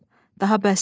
Daha bəsdir.